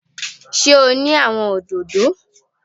Sé o ní àwon òdòdó?